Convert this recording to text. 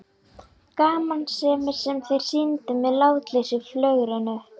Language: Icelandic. Gamansemin sem þeir sýndu með látlausu flögrinu!